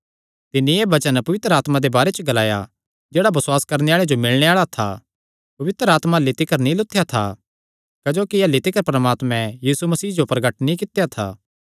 तिन्नी एह़ वचन पवित्र आत्मा दे बारे च ग्लाया जेह्ड़ा बसुआस करणे आल़े जो मिलणे आल़ा था पवित्र आत्मा अह्ल्ली तिकर नीं लुत्थेया था क्जोकि अह्ल्ली तिकर परमात्मे यीशु दी महिमा जो प्रगट नीं कित्या था